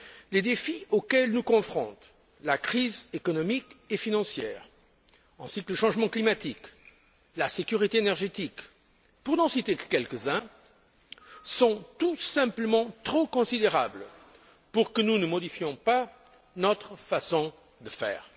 Les défis auxquels nous confrontent la crise économique et financière ainsi que le changement climatique et la sécurité énergétique pour n'en citer que quelques uns sont tout simplement trop considérables pour que nous ne modifiions pas notre façon de faire.